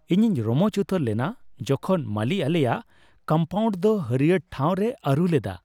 ᱤᱧᱤᱧ ᱨᱚᱢᱚᱪ ᱩᱛᱟᱹᱨ ᱞᱮᱱᱟ ᱡᱚᱠᱷᱚᱱ ᱢᱟᱞᱤ ᱟᱞᱮᱭᱟᱜ ᱠᱚᱢᱯᱟᱣᱩᱱᱰ ᱫᱚ ᱦᱟᱹᱲᱭᱟᱹᱨ ᱴᱷᱟᱣ ᱨᱮᱭ ᱟᱹᱨᱩ ᱞᱮᱫᱟ ᱾